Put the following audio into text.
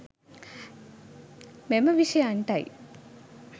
මෙම විශයන්ටයි